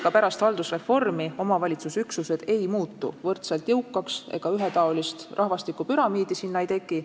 Ka pärast haldusreformi ei muutu omavalitsusüksused võrdselt jõukaks ja ühetaolist rahvastikupüramiidi ei teki.